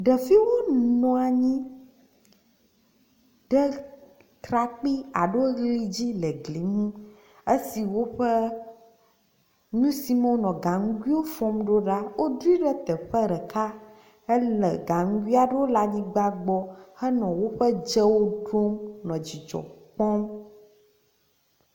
Ɖeviwo nɔ anyi ɖe trakpi alo li dzi le gli aɖe nu esime woƒe nu si me wonɔ gaŋgui fɔm ɖo la woɖui ɖe teƒe ɖeka hele gaŋgui aɖewo le anyigba gbɔ henɔ woƒe dzewo ɖom le didzɔ kpɔm.